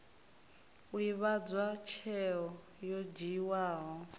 u ivhadzwa tsheo yo dzhiiwaho